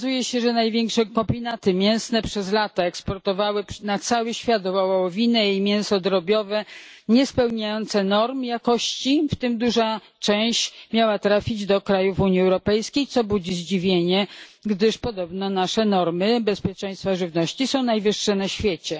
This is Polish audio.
Okazuje się, że największe kombinaty mięsne przez lata eksportowały na cały świat wołowinę i mięso drobiowe niespełniające norm jakości, w tym duża część miała trafić do krajów Unii Europejskiej, co budzi zdziwienie, gdyż podobno nasze normy bezpieczeństwa żywności są najwyższe na świecie.